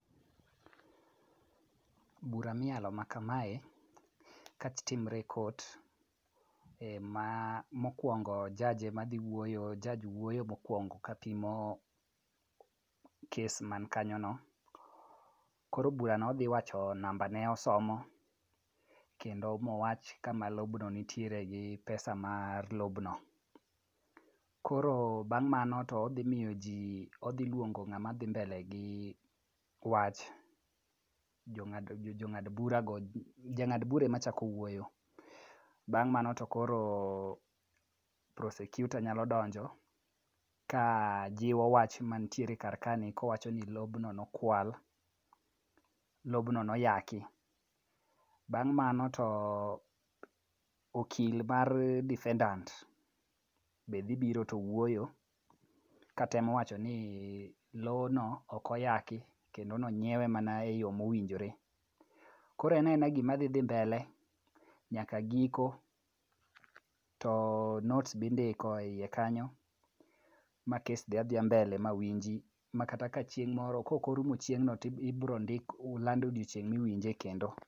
Bura miyalo ma kamae, ka timre e kot, Mokwongo judge ema dhi wuoyo, judge wuoyo mokwongo kapimo kes man kanyono. Koro burano odhi wacho nambane ,osomo, kendo mowach kama lobno nitiere gi pesa mar lobno. Koro bang' mano, odhi luongo ng'ama dhi mbele gi wach, jang'ad bura ema chako wuoyo, bang' mano to koro prosecutor nyalo donjo kajiwo wach mantiere kar kaeni kowacho ni lobno nokwal, lobno noyaki. Bang' mano to okil mar defendant be dhi biro to wuoyo katemo wachoni lowono ok oyaki kendo nonyiewe mana e yo mowinjore. Koro en aena gimadhi dhi mbele nyaka giko, to notes be indiko e iye kanyo ma kes dhi adhiya mbele ma winji ma kata ka chieng' moro koko rumo chieng'no tibro land odiochieng' miwinje kendo.